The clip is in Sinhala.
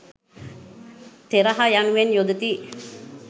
තෙරහ යනුවෙන් යොදති.